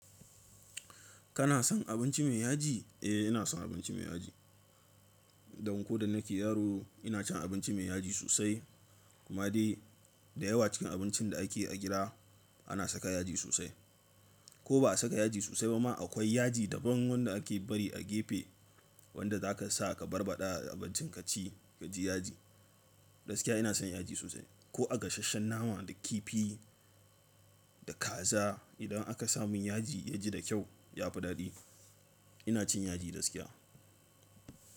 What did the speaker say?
Kana son abinci mai yaji? Eh ina son abinci mai yaji. Dan ko da nake yaro ina cin abinci mai yaji sosai. Kuma dai da yawa cikin abincin da ake yi a gida ana saka yaji sosai. Ko ba a saka yaji sosai ba ma akwai yaji daban wanda ake bari a gefe wanda zaka sa ka barbaɗa abincin kaci kaji yaji. Gaskiya ina son yaji sosai ko a gasasshen nama da kifi da kaza idan aka sa mun yaji yaji da kyau ya fi daɗi. Ina cin yaji gaskiya.